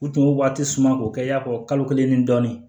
U tun b'o waati suma k'o kɛ i y'a fɔ kalo kelen ni dɔɔnin